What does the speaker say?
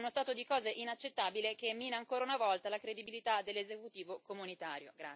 È uno stato di cose inaccettabile che mina ancora una volta la credibilità dell'esecutivo comunitario.